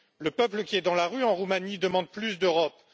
Le peuple qui est dans la rue en Roumanie demande plus d'Europe.